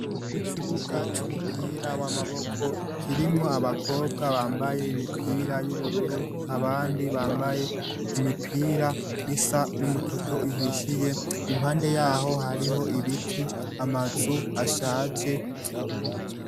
Ikibuga c'umupira w'amaboko kirimwo abakobwa bambaye imipira y'ubururu abandi bambaye imipira isa n'umutoto ihishiye impande yaho hariho ibiti amazu ashaje .